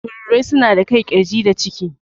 Tururuwai suna da kai, ƙirji da ciki.